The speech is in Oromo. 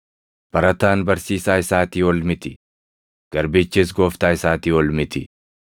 “Barataan barsiisaa isaatii ol miti; garbichis gooftaa isaatii ol miti.